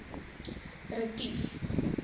retief